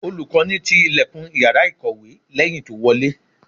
Olùkọ́ni ti ìlẹ̀kùn Ìyàrá ìkọ̀wé lẹ́yìn tó wọlé.